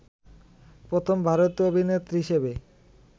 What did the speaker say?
প্রথম ভারতীয় অভিনেত্রী হিসেবে